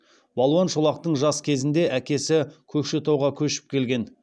балуан шолақтың жас кезінде әкесі көкшетауға көшіп келген